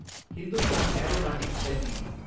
Hindustan Aeronautics LTD